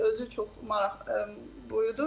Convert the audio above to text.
Özü çox maraq buyurdu.